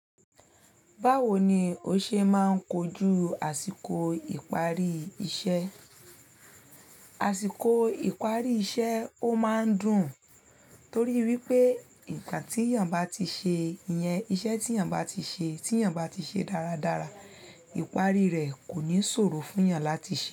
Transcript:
Báwo ni o ṣe máa ń kojú àsìkò ìparí iṣẹ́? Àsìkò ìparí iṣẹ́ ó máa ń dùn torí wípé ìgbà tí èèyàn bá ti ṣe, iyan iṣẹ́ tí èèyàn bá ti ṣe, tí èèyàn bá ti ṣe dáradára, ìparí rẹ̀ kò ní ṣòro fún èèyàn láti ṣe.